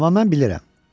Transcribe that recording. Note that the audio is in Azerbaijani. Amma mən bilirəm.